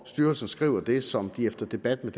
styrelsen skriver det som den efter debat med